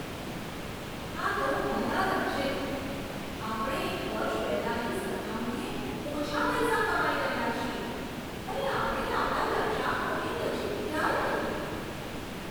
આ તો ભયાનક છે! આપણે એક વર્ષ પહેલાંની સરખામણીએ ઓછા પૈસા કમાઈ રહ્યા છીએ અને આપણે આપણા લક્ષ્યાંકોની નજીક ક્યાંય નથી.